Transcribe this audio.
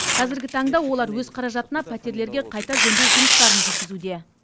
қазіргі таңда олар өз қаражатына пәтерлерге қайта жөндеу жұмыстарын жүргізуде